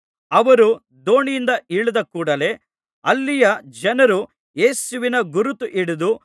ಅವರು ದೋಣಿಯಿಂದ ಇಳಿದ ಕೂಡಲೇ ಅಲ್ಲಿಯ ಜನರು ಯೇಸುವಿನ ಗುರುತು ಹಿಡಿದು